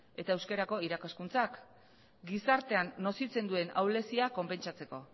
eta euskerako irakaskuntzak gizartean nozitzen duen ahulezia konpentsatzeko